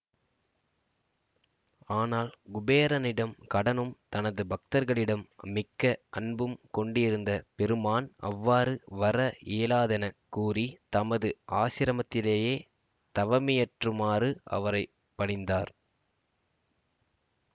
ஆனால் குபேரனிடம் கடனும் தனது பக்தர்களிடம் மிக்க அன்பும் கொண்டிருந்த பெருமான் அவ்வாறு வர இயலாதெனக் கூறி தமது ஆசிரமத்திலேயே தவமியற்றுமாறு அவரை பணித்தார்